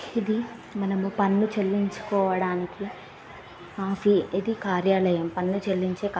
ఇది మనము పన్ను చెల్లించుకోవడానికి ఇది కార్యాలయం పన్ను చెల్లించే కా-- .